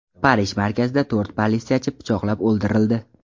Parij markazida to‘rt politsiyachi pichoqlab o‘ldirildi.